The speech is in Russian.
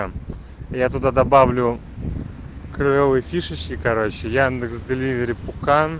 м я туда добавлю клёвые фишечки короче яндекс деливери пукан